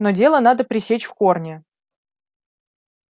но дело надо пресечь в корне